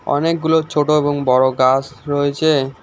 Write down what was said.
অনেকগুলো ছোট এবং বড় গাস রয়েছে।